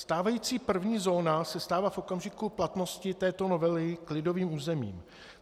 Stávající první zóna se stává v okamžiku platnosti této novely klidovým územím.